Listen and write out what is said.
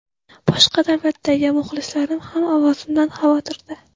Boshqa davlatlardagi muxlislarim ham ovozimdan xavotirda.